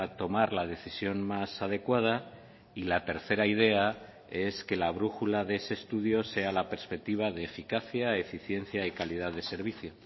tomar la decisión más adecuada y la tercera idea es que la brújula de ese estudio sea la perspectiva de eficacia eficiencia y calidad de servicio